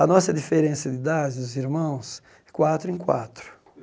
A nossa diferença de idade, dos irmãos, é quatro em quatro.